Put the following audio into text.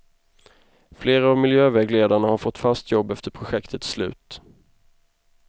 Flera av miljövägledarna har fått fast jobb efter projektets slut.